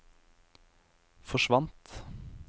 forsvant